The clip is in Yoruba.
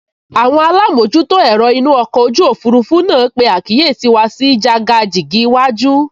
Àwọn alámojútó ẹ̀rọ inú ọkọ̀ ojú òfurufú náà pe àkíyèsí wa sí jàgàjìgì iwájú